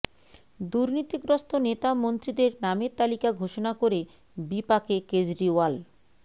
দুর্নীতিগ্রস্ত নেতা মন্ত্রীদের নামের তালিকা ঘোষণা করে বিপাকে কেজরিওয়াল